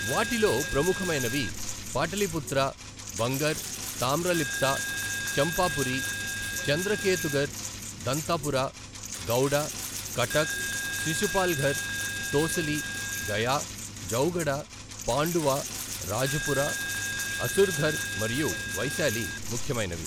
వాటిలో ప్రముఖమైనవి పాటలీపుత్ర, బంగర్, తామ్రలిప్త, చంపాపురి, చంద్రకేతుగర్, దంతపురా, గౌడ, కటక్, శిశుపాల్ఘర్, తోసలి, గయా, జౌగడ, పాండువా, రాజపురా, అసుర్ఘర్ మరియు వైశాలి ముఖ్యమైనవి.